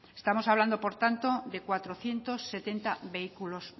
estamos hablando por tanto de cuatrocientos setenta vehículos